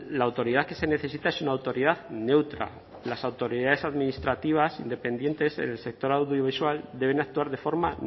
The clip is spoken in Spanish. la autoridad que se necesita es una autoridad neutra las autoridades administrativas independientes en el sector audiovisual deben actuar de forma